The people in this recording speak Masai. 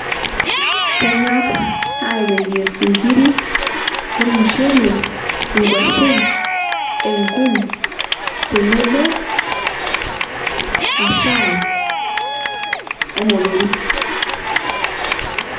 kenyor ateyier nkiri ormushele ,kwashen, enkum tenebo oshai omotorik